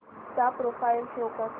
चा profile show कर